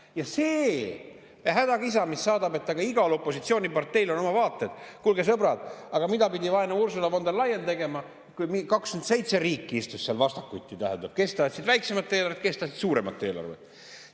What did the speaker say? Ja see hädakisa, mis meid siin saadab, et aga igal opositsiooniparteil on oma vaated – kuulge, sõbrad, aga mida pidi vaene Ursula von der Leyen tegema, kui 27 riiki istus seal vastakuti, kes tahtsid väiksemat eelarvet, kes tahtsid suuremat eelarvet?